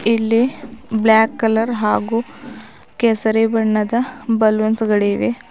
ಇಲ್ಲಿ black colour ಹಾಗೂ ಕೇಸರಿ ಬಣ್ಣದ ಬಲೂನ್ಸ್ ಗಳಿವೆ.